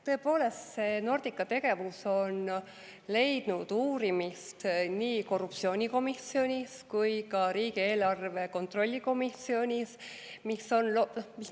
Tõepoolest, Nordica tegevus on leidnud uurimist nii korruptsioonivastases erikomisjonis kui ka riigieelarve kontrolli erikomisjonis.